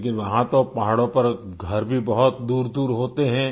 लेकिन वहाँ तो पहाड़ों पर घर भी बहुत दूरदूर होते हैं